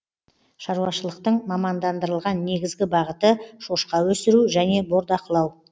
шаруашылықтың мамандандырылған негізгі бағыты шошқа өсіру және бордақылау